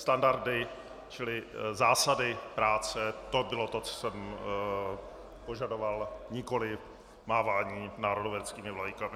Standardy, čili zásady práce, to bylo to, co jsem požadoval, nikoliv mávání národoveckými vlajkami.